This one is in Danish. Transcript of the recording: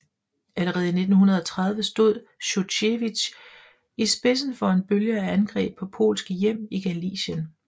Allerede i 1930 stod Sjuchevitj i spidsen for en bølge af angreb på polske hjem i Galicien